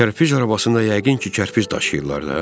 Kərpic arabasında yəqin ki, kərpic daşıyırlar da.